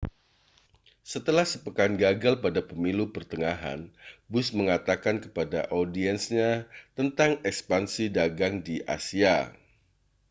setelah sepekan gagal pada pemilu pertengahan bush mengatakan kepada audiensnya tentang ekspansi dagang di asia